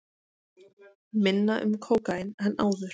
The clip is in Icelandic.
Minna um kókaín en áður